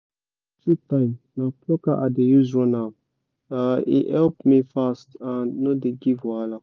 time na plucker i dey use run am um e help me fast and no dey give wahala